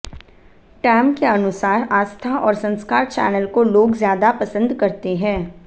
time के अनुसार आस्था और संस्कार चैनल को लोग ज्यादा पसंद करते हैं